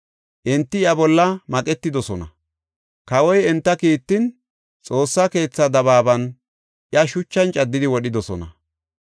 Enti iya bolla maqetidosona. Kawoy enta kiittin, Xoossa keethaa dabaaban, iya shuchan caddidi wodhidosona.